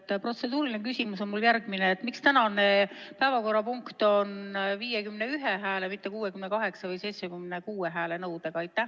Minu protseduuriline küsimus on järgmine: miks tänane päevakorrapunkt on 51 hääle, mitte 68 või 76 hääle nõudega?